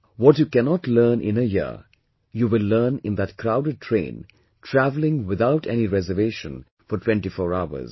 What you cannot learn in a year, you will learn in that crowded train travelling without any reservation for 24 hours